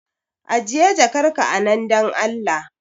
Ajiye jakar ka a nan dan Allah